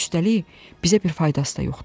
Üstəlik, bizə bir faydası da yoxdur.